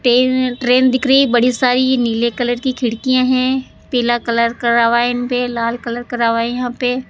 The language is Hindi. तीन ट्रेन दिख रही बड़ी सारी नीले कलर की खिड़कियां हैं पीला कलर करा हुआ इनपे लाल कलर करा हुआ यहां पे --